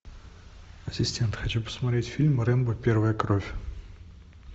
ассистент хочу посмотреть фильм рэмбо первая кровь